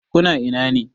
Ku na ina ne?